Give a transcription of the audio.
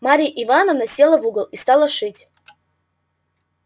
марья ивановна села в угол и стала шить